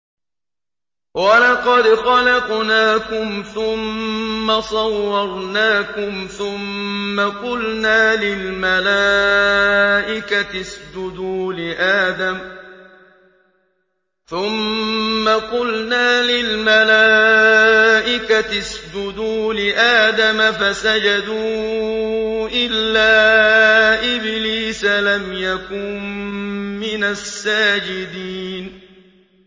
وَلَقَدْ خَلَقْنَاكُمْ ثُمَّ صَوَّرْنَاكُمْ ثُمَّ قُلْنَا لِلْمَلَائِكَةِ اسْجُدُوا لِآدَمَ فَسَجَدُوا إِلَّا إِبْلِيسَ لَمْ يَكُن مِّنَ السَّاجِدِينَ